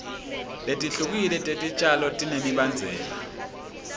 letihlukile tetitjalo tinemibandzela